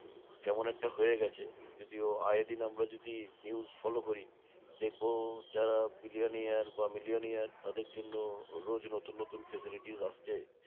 যেমন একটা হয়ে গেছে। যদিও আয়ে দিন আমরা যদি news follow করি দেখবো, যারা bilionaire বা milionaire তাদের জন্য রোজ নতুন নতুন facilities আসছে